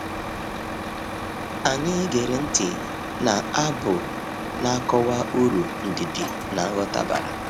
Anyị gere ntị na abu na-akọwa uru ndidi na nghọta bara